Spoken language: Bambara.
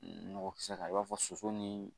Nɔgɔ kisɛ kan i b'a fɔ soso nii